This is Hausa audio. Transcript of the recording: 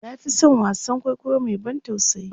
na Fi San wasaan kwaikwayo Mai ban tausayi